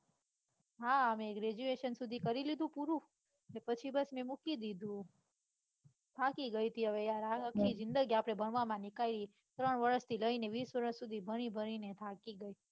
હા હવે graduation સુધી કરી લીધું પૂરું અન પછી બસ ને મૂકી દીધું થાકી ગઈ તી હવે યાર આ આખી જિંદગી આપડે ભણવામાં નીકળી છે ત્રણ વરશ થી લઈને વિસ વરશ સુધી ભણી ભણી ને થાકી ગઈ.